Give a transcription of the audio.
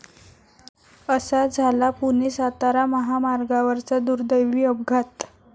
असा झाला पुणे सातारा महामार्गावरचा दुर्दैवी अपघात